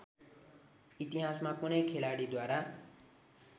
इतिहासमा कुनै खेलाडीद्वारा